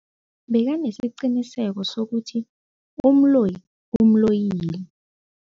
Bekanesiqiniseko sokuthi umloyi umloyile.